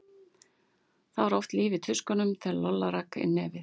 Það var oft líf í tuskunum þegar Lolla rak inn nefið.